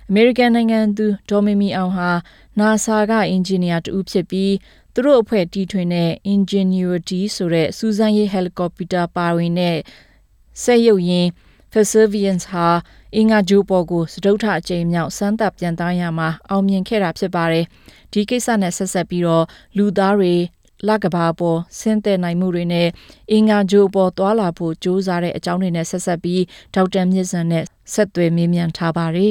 အမေရိကန်နိုင်ငံသူ ဒေါ်မီမီအောင်ဟာ NASA က အင်ဂျင်နီယာ တစ်ဦးဖြစ်ပြီး သူတို့အဖွဲ့တီထွင်တဲ့ Ingenuity စူးစမ်းရေး ဟယ်လီကော်ပတာ ပါ စက်ရုပ်ယာဉ် Perseverance ဟာ အင်္ဂါဂြိုလ်ပေါ်ကို စတုတ္တကြိမ်မြောက် စမ်းသပ်ပျံသန်းရာမှာ အောင်မြင်ခဲ့တာ ဖြစ်ပါတယ်။ ဒီကိစ္စနဲ့ ဆက်စပ်ပြီး လူသားတွေ လအပေါ် ဆင်းသက်မှုနဲ့ အင်္ဂါဂြိုလ်အပေါ် သွားလာဖို့ ကြိုးစားခဲ့တဲ့အကြောင်းတွေကို ဒေါက်တာ မြင့်ဇံနဲ့ ဆက်သွယ်မေးမြန်းထားပါတယ